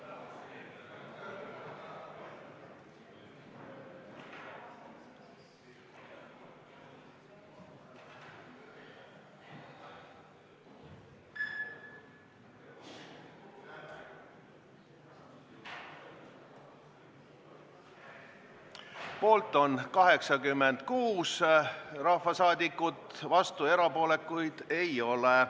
Hääletustulemused Poolt on 86 rahvasaadikut, vastuolijaid ega erapooletuid ei ole.